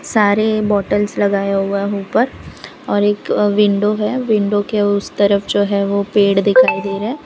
सारे बॉटल्स लगाया हुआ ऊपर और एक विंडो है विंडो के उस तरफ जो है वो पेड़ दिखाई दे रहा --